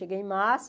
Cheguei em março.